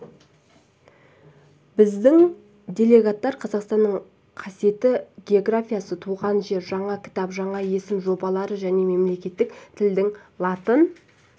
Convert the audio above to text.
біздің делегеттар қазақстанның қасиетті географиясы туған жер жаңа кітап жаңа есім жобалары және мемлекеттік тілдің латын